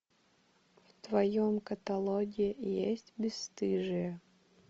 в твоем каталоге есть бесстыжие